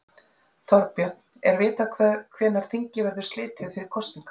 Þorbjörn, er vitað hvenær þingi verður slitið fyrir kosningar?